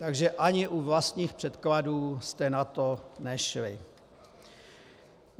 Takže ani u vlastních předkladů jste na to nešli.